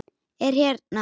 Er hérna.